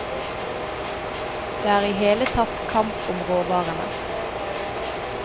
Det er i hele tatt kamp om råvarene.